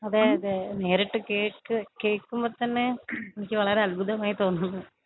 അതേ അതേ നേരിട്ട് കേക്ക് കേക്കുമ്പൊ തന്നേ എനിക്ക് വളരേ അത്ഭുതമായി തോന്നുന്നു.